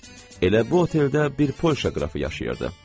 Elə bu oteldə bir Polşa qrafı yaşayırdı.